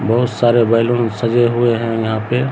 बहुत सारे बैलून सजे हुए हैं यहाँ पे।